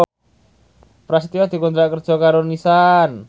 Prasetyo dikontrak kerja karo Nissan